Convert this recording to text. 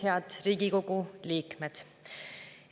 Head Riigikogu liikmed!